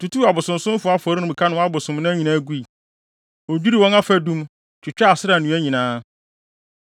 Otutuu abosonsomfo afɔremuka ne wɔn abosonnan nyinaa gui. Odwiriw wɔn afadum, twitwaa Asera nnua nyinaa.